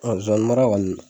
Ɔn Zonzani mara kɔni